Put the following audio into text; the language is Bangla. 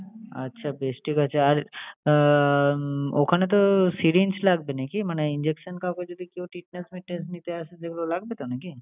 আচ্ছা বেশ ঠিক আছে। আর উম ওখানে তো syringe লাগবে নাকি মানে injection? কাউকে যদি কেউ treatment নিটমেন্স নিতে আসে এগুলো লাগবে তো নাকি?